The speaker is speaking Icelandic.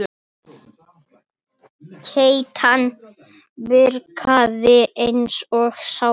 Keytan virkaði eins og sápa.